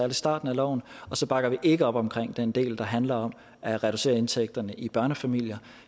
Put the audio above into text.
i starten af loven og så bakker vi ikke op omkring den del der handler om at reducere indtægterne i børnefamilier